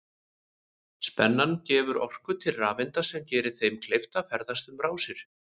Spennan gefur orku til rafeinda sem gerir þeim kleift að ferðast um rásir.